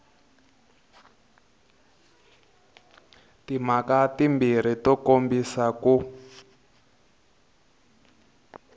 timhaka timbirhi to kombisa ku